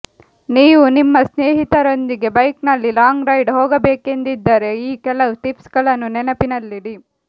ನೀವು ನಿಮ್ಮ ಸ್ನೇಹಿತರೊಂದಿಗೆ ಬೈಕ್ನಲ್ಲಿ ಲಾಂಗ್ ರೈಡ್ ಹೋಗಬೇಕೆಂದಿದ್ದರೆ ಈ ಕೆಲವು ಟಿಪ್ಸ್ಗಳನ್ನು ನೆನಪಿನಲ್ಲಿಡಿ